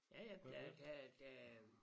Ja ja der der der